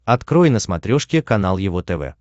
открой на смотрешке канал его тв